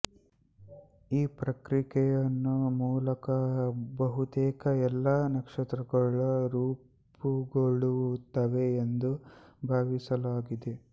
ಈ ಪ್ರಕ್ರಿಯೆಯ ಮೂಲಕ ಬಹುತೇಕ ಎಲ್ಲಾ ನಕ್ಷತ್ರಗಳು ರೂಪುಗೊಳ್ಳುತ್ತವೆ ಎಂದು ಭಾವಿಸಲಾಗಿದೆ